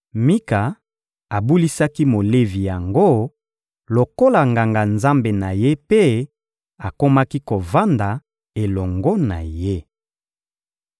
Mika abulisaki Molevi yango lokola nganga-nzambe na ye mpe akomaki kovanda elongo na ye.